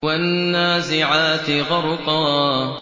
وَالنَّازِعَاتِ غَرْقًا